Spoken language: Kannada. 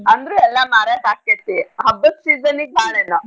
ಅಂದ್ರೆ ಎಲ್ಲಾ ಮಾರಕ್ ಆಕ್ತೇತಿ ಹಬ್ಬದ್ season ಗ್ ಭಾಳ್ ಎಲ್ಲಾ.